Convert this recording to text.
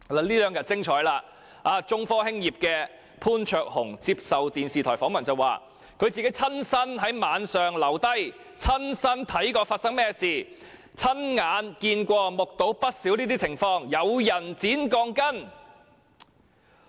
這兩天十分精彩，中科的潘焯鴻先生接受電視台訪問時表示，他曾親身在晚上留在地盤，親眼看見發生甚麼事，目睹不少該等情況，有人剪鋼筋。